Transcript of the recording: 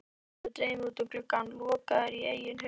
Hann horfir dreyminn út um gluggann, lokaður í eigin hugarheimi.